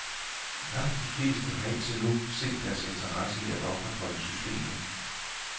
Langt de fleste har indtil nu set deres interesse i at opretholde systemet.